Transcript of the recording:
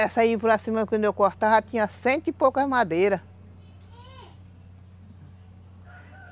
Essa aí por acima, quando eu cortava, tinha cento e poucas madeiras.